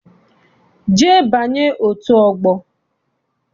Jee banye otu ọgbọ!